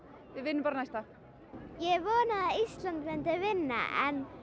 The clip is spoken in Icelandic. við vinnum bara næsta ég vonaði að Ísland myndi vinna en